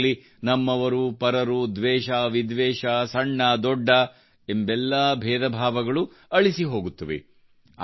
ಇದರಲ್ಲಿ ನಮ್ಮವರುಪರರು ದ್ವೇಷವಿದ್ವೇಷ ಸಣ್ಣದೊಡ್ಡ ಎಂಬೆಲ್ಲಾ ಭೇದಭಾವಗಳು ಅಳಿಸಿಹೋಗುತ್ತವೆ